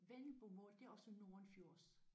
Vendelbomål det er også nordenfjords?